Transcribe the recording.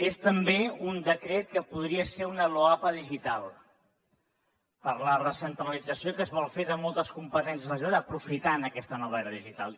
és també un decret que podria ser una loapa digital per a la recentralització que es vol fer de moltes competències de la generalitat aprofitant aquesta nova era digital